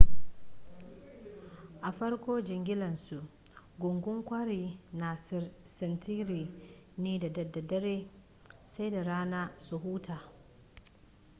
a farko jigilarsu gungun kwarin na sintiri ne da daddare sai da rana su huta